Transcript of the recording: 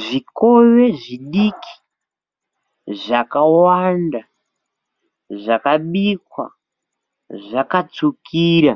zvikove zvidiki zvakawanda zvakabikwa zvakatsvukira,